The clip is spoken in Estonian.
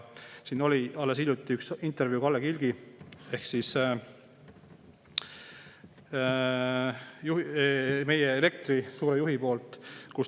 Siin oli alles hiljuti üks intervjuu Kalle Kilgiga ehk siis meie elektri suure juhiga.